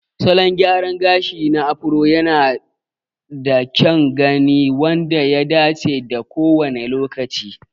Salon gyraran gashi na Afro yanada kyan gani wanda ya dace da kowane lokaci.